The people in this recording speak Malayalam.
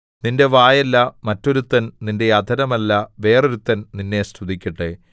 നിന്റെ വായല്ല മറ്റൊരുത്തൻ നിന്റെ അധരമല്ല വേറൊരുത്തൻ നിന്നെ സ്തുതിക്കട്ടെ